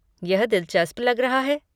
यह दिलचस्प लग रहा है।